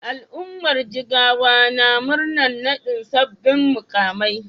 Al'ummar Jigawa na murnar naɗin sabbin muƙamai.